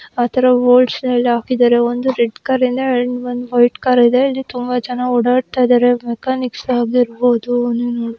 ಒಂದು ಗೋಡನಲ್ಲಿ ಹಾಕಿದರೆ ಒಂದು ರೆಡ್ ಕಲರ್ ಕಾರಿದೆ ವೈಟ್ ಕಾರಿದೆ ತುಂಬಾ ಜನ ಓಡಾಡ್ತಾ ಇದ್ದಾರೆ. ಮೆಕ್ಯಾನಿಕ್ಸ್ ಇರಬಹುದು .